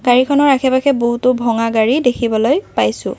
গাড়ীখনৰ আশে পাশে বহুতো ভঙা গাড়ী দেখিবলৈ পাইছোঁ।